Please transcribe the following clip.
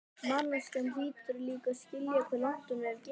Manneskjan hlýtur líka að skilja hve langt hún hefur gengið.